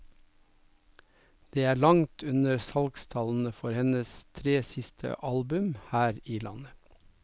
Det er langt under salgstallene for hennes tre siste album her i landet.